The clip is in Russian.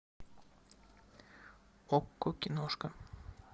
окко киношка